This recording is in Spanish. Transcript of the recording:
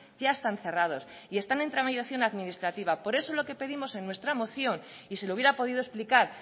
ya están cerrados y están en tramitación administrativa por eso lo que pedimos en nuestra moción y se lo hubiera podido explicar